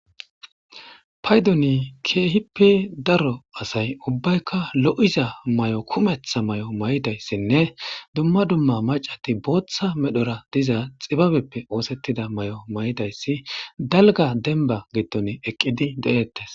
Payduni keehippe daro asay ubbaykka lo'iza may'o kumetha may'o may7dayssinne dumma dumma macati booththa medhora diza xibabeppe oosettida may'o may'dayssi dalga denba gitton eqqidi de'ettes